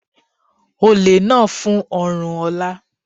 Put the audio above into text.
Olè náà fún ọrùn Ola.